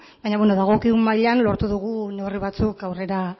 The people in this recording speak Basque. baina beno dagokigun mailan lortu dugu neurri batzuk aurrera